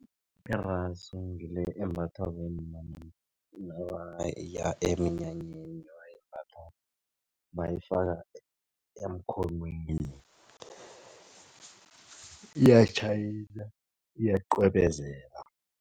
Irasu ngile embathwa bomma nabaya eminyanyeni ebayimbatha bayifaka emkhonweni iyatjhayina iyaqwebezela.